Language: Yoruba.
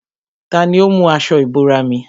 Tani ó mú aṣọ ìbora mi?